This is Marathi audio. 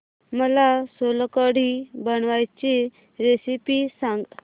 मला सोलकढी बनवायची रेसिपी सांग